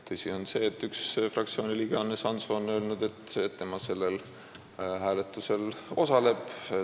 Tõsi on see, et üks fraktsiooni liige, Hannes Hanso, on öelnud, et tema osaleb sellel hääletusel.